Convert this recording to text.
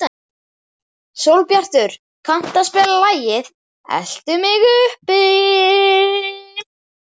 Sólbjartur, kanntu að spila lagið „Eltu mig uppi“?